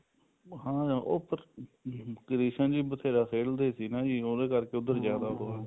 ਹਾਂ ਅਹ ਉਹ ਕ੍ਰਿਸ਼ਨ ਜੀ ਬਥੇਰਾ ਖੇਲਦੇ ਸੀ ਨਾ ਜੀ ਉਹਦੇ ਕਰਕੇ ਉੱਧਰ ਜਿਆਦਾ